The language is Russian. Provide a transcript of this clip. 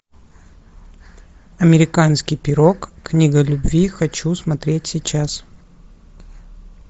американский пирог книга любви хочу смотреть сейчас